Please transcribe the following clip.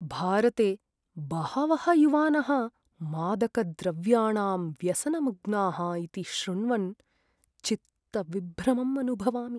भारते बहवः युवानः मादकद्रव्याणां व्यसनमग्नाः इति श्रुण्वन् चित्तविभ्रमम् अनुभवामि।